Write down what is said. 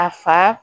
A fa